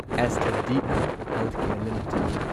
aster D M healthcare limited